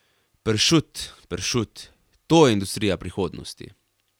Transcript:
Pršut, pršut, to je industrija prihodnosti.